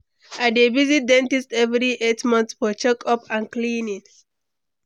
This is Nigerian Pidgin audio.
I dey visit dentist every eight months for check-up and cleaning.